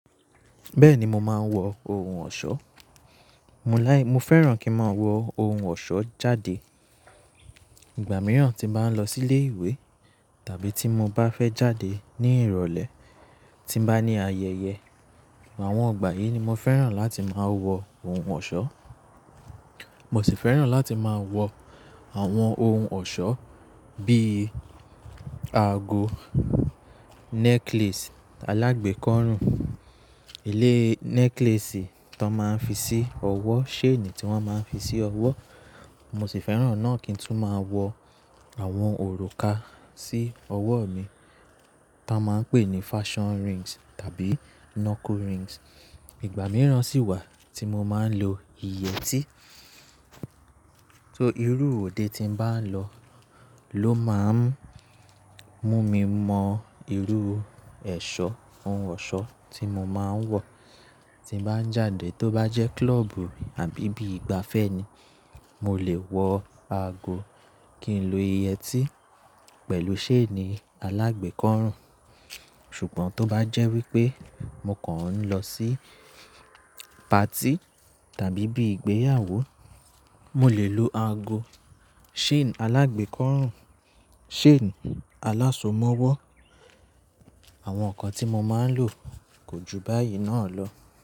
Bẹ́ẹ̀ni mo máa ń wọ ohun ọ̀ṣọ́, mo fẹ́ràn kí n máa wọ ohun ọ̀ṣọ́ jáde. Ìgbà mìíràn tí n ba ń lọ sí ilé ìwé tàbí tí mo bá fẹ́ jáde ní ìrọ̀lẹ́ tí n bá ní ayẹyẹ. Àwọn ìgbà yìí ni mo fẹ́ràn láti máa wọ ohun ọ̀ṣọ́. Mo sì fẹ́ràn láti máa wọ àwọn ohun ọ̀ṣọ́ bíi aago, necklace alágbékọ́rùn, eleyii necklace tí wọ́n máa ń fi sí ọwọ́, chain tí wọ́n máa ń fi sí ọwọ́. Mo sì fẹ́ràn náà kí n tún máa wọ àwọn òrùka sí ọwọ́ mi tí wọ́n máa ń pè ní fashion rings tàbí knuckle rings. Ìgbà mìíràn sì wà tí mo máa ń lo yẹ́tí. Só irú òde tí n bá n lọ ló máa ń mú mi mọ irú ẹ̀ṣọ́, ohun ọ̀ṣọ́ tí mo máa ń wọ̀. Tí n bàá ń jáde tó bá jẹ́ club àbí bí ìgbafẹ́ ni, mo lè wọ aago kí n lo yẹ́tí pẹ̀lú chain alágbekọ́rùn. Ṣùgbọ́n tó bá jẹ́ wípé mo kan lọ sí party tàbí bí ìgbéyàwó, mo lè lo aago chain alágbekọ́rùn, chain alásomọwọ́. Àwọn nǹkan tí mo máa ń lò kò ju báyìí náà lọ.